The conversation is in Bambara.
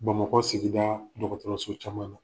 Bamakɔ sigida caman na.